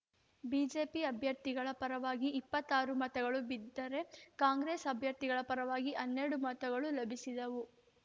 BJP ಅಭ್ಯರ್ಥಿಗಳ ಪರವಾಗಿ ಇಪ್ಪತ್ತಾರು ಮತಗಳು ಬಿದ್ದರೆ ಕಾಂಗ್ರೆಸ್‌ ಅಭ್ಯರ್ಥಿಗಳ ಪರವಾಗಿ ಹನ್ನೆರಡು ಮತಗಳು ಲಭಿಸಿದವು